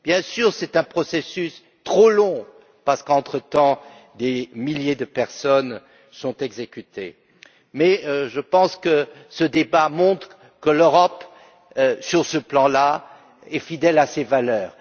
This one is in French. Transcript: Bien sûr, c'est un processus trop long parce que, entre temps, des milliers de personnes sont exécutées, mais je pense que ce débat montre que l'Europe, sur ce plan, est fidèle à ses valeurs.